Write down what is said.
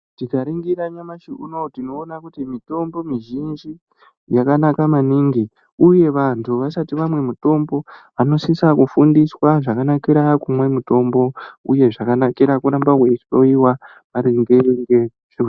Tika ringira nyamashi unowu tinoona kuti mitombo mi zhinji yakanaka maningi uye vantu vasati vamwe mitombo vanosisa ku fundiswa zvaka nakira kumwe mutombo uye zvakanakira kuramba wei hloyiwa maringe ngezve .